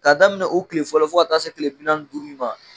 K'a daminɛ u kile fɔlɔ fo ka taa se kile bi naani ni duuru in ma.